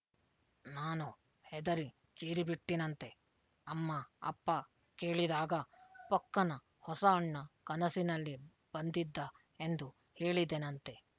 ನಾನು ಹೆದರಿ ಚೀರಿಬಿಟ್ಟಿನಂತೆ ಅಮ್ಮ ಅಪ್ಪ ಕೇಳಿದಾಗ ಪೊಕ್ಕನ ಹೊಸ ಅಣ್ಣ ಕನಸಿನಲ್ಲಿ ಬಂದಿದ್ದ ಎಂದು ಹೇಳಿದೆನಂತೆ